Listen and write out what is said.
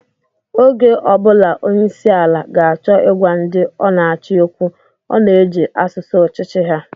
Oge ọ bụla onyeisiala ga-acho ịgwa ndị ọ na-achị okwu, ọ na-eji asụsụ ọchịchị ha.